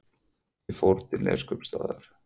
Ég fór til Neskaupstaðar.